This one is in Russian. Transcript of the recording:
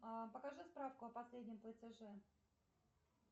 покажи справку о последнем платеже